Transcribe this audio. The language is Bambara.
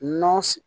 Nɔnɔ